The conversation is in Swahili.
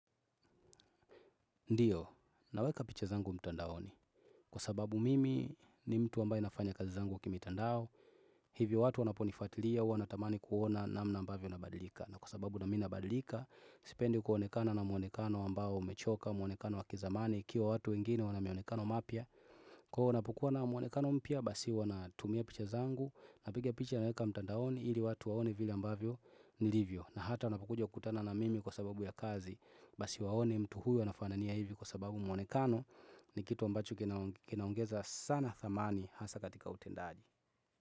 Ndiyo, naweka picha zangu mtandaoni. Kwa sababu mimi ni mtu ambaye nafanya kazi zangu kimitandao. Hivyo watu wanaponifatilia, huwa natamani kuona namna ambavyo nabadilika. Na kwa sababu nami nabadilika, sipendi kuonekana na mwonekano ambao umechoka, mwonekano wakizamani, ikiwa watu wengine wanamionekano mapya. Kuwa wanapokua na mwanekano mpya basi wanatumia picha zangu Napiga picha naweka mtandaoni ili watu waone vile ambavyo nilivyo na hata wanapokuja kutana na mimi kwa sababu ya kazi Basi waone mtu huyo nafanania hivi kwa sababu mwonekano ni kitu ambacho kinaongeza sana thamani hasa katika utendaji.